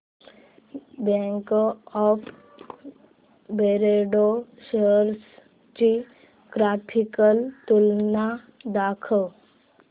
bank of Baroda shares ची graphical तुलना दाखव